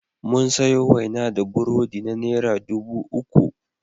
Mun sayo waina da burodi na naira dubu uku.